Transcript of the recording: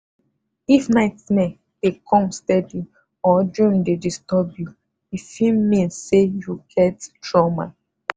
if nightmare dey come steady or dream dey disturb you e fit mean say you get trauma.